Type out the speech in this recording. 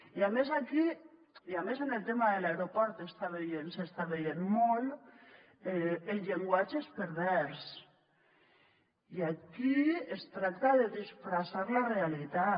i a més amb el tema de l’aeroport s’està veient molt el llenguatge és pervers i aquí es tracta de disfressar la realitat